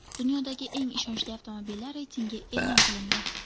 Dunyodagi eng ishonchli avtomobillar reytingi e’lon qilindi.